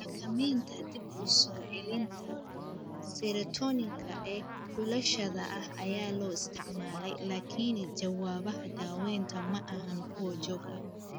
Xakamaynta dib-u-soo-celinta serotonin-ka ee xulashada ah ayaa la isticmaalay laakiin jawaabaha daawaynta ma ahayn kuwo joogto ah.